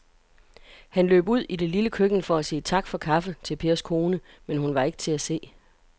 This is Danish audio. Han løb ud i det lille køkken for at sige tak for kaffe til Pers kone, men hun var ikke til at se.